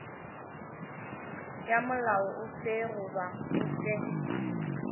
ya molao ofe goba ofe